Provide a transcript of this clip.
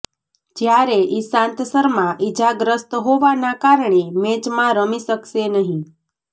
જ્યારે ઈશાંત શર્મા ઈજાગ્રસ્ત હોવાના કારણે મેચમાં રમી શકશે નહી